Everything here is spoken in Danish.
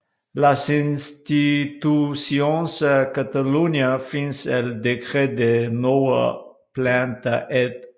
Les Institucions a Catalunya fins al Decret de Nova Planta Ed